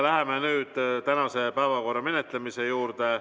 Läheme tänase päevakorra menetlemise juurde.